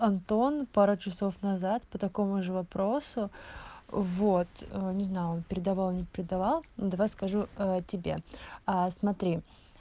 антон пару часов назад по такому же вопросу вот не знал передавал не предавал но давай скажу тебе а смотри